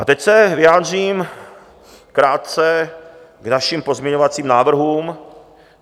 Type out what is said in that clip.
A teď se vyjádřím krátce k našim pozměňovacím návrhům.